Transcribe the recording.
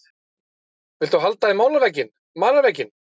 Vilja halda í malarveginn